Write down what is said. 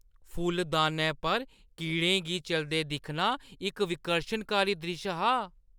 फुल्लदानै पर कीड़ें गी चलदे दिक्खना इक विकर्शनकारी द्रिश्श हा।